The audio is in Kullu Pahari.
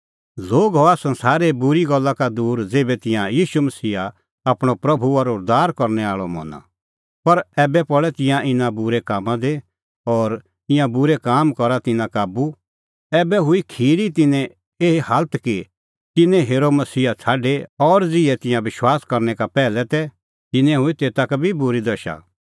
लोग हआ संसारे बूरी गल्ला का दूर ज़ेभै तिंयां ईशू मसीहा आपणअ प्रभू और उद्धार करनै आल़अ मना पर ऐबै पल़ै तिंयां भी इना बूरै कामां दी और ईंयां बूरै काम करा तिन्नां काबू ऐबै हुई खिरी तिन्नें एही हालत कि तिन्नैं हेरअ मसीहा छ़ाडी और ज़िहै तिंयां विश्वास करनै का पैहलै तै तिन्नें हुई तेता का बी बूरी दशा